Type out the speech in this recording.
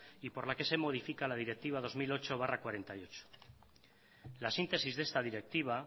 y por la que se modifica la directiva dos mil ocho barra cuarenta y ocho la síntesis de esta directiva